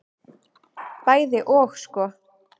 Bæði og sko.